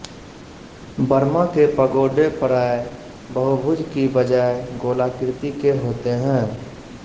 Burma के पगोडे प्राय बहुभुज की बजाय गोलाकृति के होते हैं